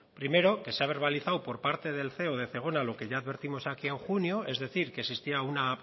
primero que se ha verbalizado por parte del ceo de zegona lo que ya advertimos aquí en junio es decir que existía un